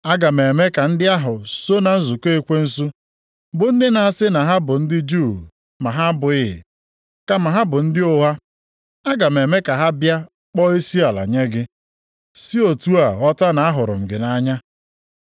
Aga m eme ka ndị ahụ so na nzukọ ekwensu, bụ ndị na-asị na ha bụ ndị Juu ma ha abụghị, kama ha bụ ndị ụgha, aga m eme ka ha bịa kpọọ isiala nye gị, si otu a ghọta na ahụrụ m gị nʼanya.